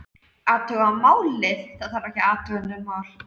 Athuga málið, það þarf ekki að athuga nein mál